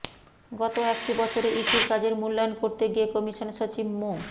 গত একটি বছরে ইসির কাজের মূল্যায়ন করতে গিয়ে কমিশন সচিব মো